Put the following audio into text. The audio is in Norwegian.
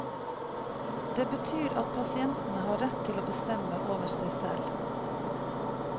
Det betyr at pasientene har rett til å bestemme over seg selv.